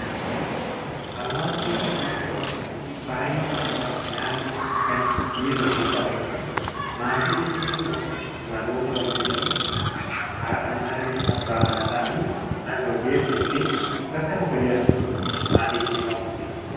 Hawaasa jechuun walitti qabama yookaan baay'ina uummataa naannoo yookaan biyya tokko keessa jiraatudha. Maatii jechuun ammoo warroota walfuudhanii haadha manaa yookiin abbaa manaa ta'anii mana tokko keessa yookiin bakka tokko jiraataniin maatii jechuu dandeenya.